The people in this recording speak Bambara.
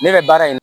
Ne bɛ baara in